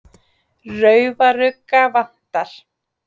Raufarugga vantar.